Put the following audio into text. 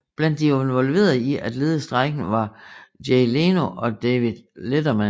Blandt de involverede i at lede strejken var Jay Leno og David Letterman